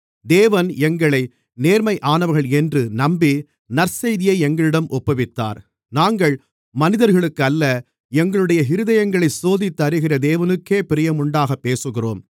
தேவன் எங்களை நேர்மையானவர்கள் என்று நம்பி நற்செய்தியை எங்களிடம் ஒப்புவித்தார் நாங்கள் மனிதர்களுக்கு அல்ல எங்களுடைய இருதயங்களைச் சோதித்தறிகிற தேவனுக்கே பிரியமுண்டாகப் பேசுகிறோம்